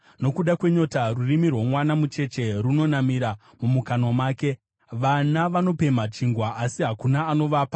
Nokuda kwenyota rurimi rwomwana mucheche runonamira mumukanwa make; vana vanopemha chingwa, asi hakuna anovapa.